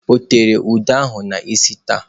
O teela ude ahụ n'isi taa?